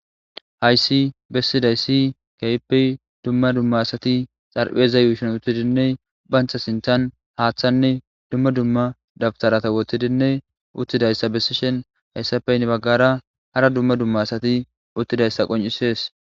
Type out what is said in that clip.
Hayssi bessiday si kaypey dumma dumma asati xarpheeza yuushon uttidinne bancha sinthan haaththanne dumma dumma dabtarata wottidinne uttidayssa bessi shen hayssafeynne baggara hara dumma dumma asati uttidayssa qoncisees.